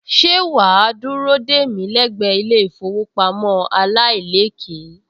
Ṣé wà á dúró dè mí lẹ́gbẹ̀ẹ́ ilé-ìfowópamọ́ aláìlékèé